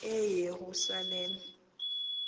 eyerusalem